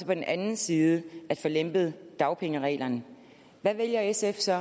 den anden side at få lempet dagpengereglerne hvad vælger sf så